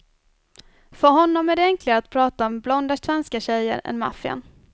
För honom är det enklare att prata om blonda svenska tjejer än maffian.